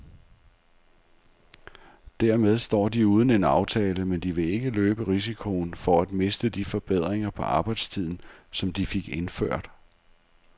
Dermed står de uden en aftale, men de vil ikke løbe risikoen for at miste de forbedringer på arbejdstiden, som de fik indført.